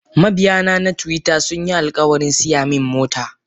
Mabiyana na twitter sunyi alkawarin siyamin mota.